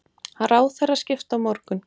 Ráðherraskipti á morgun